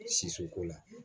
Sisi ko la